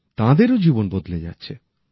তাঁদেরও জীবন বদলে যাচ্ছে